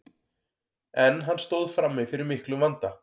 en hann stóð frammi fyrir miklum vanda